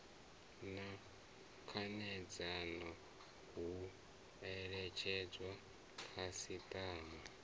na khanedzano hu eletshedzwa khasiṱama